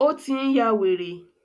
Ó tí n yá wèrè.